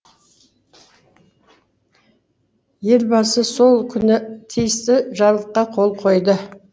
елбасы сол күні тиісті жарлыққа қол қойды